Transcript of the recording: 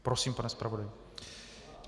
Prosím, pane zpravodaji.